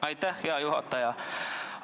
Aitäh, hea juhataja!